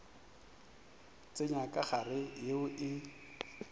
tsenya ka gare yeo e